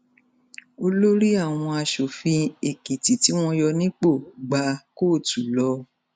olórí àwọn asòfin èkìtì tí wọn yọ nípò gba kóòtù lọ